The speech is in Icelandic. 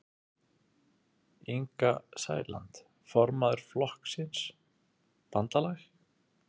Inga Sæland, formaður Flokks fólksins: Bandalag?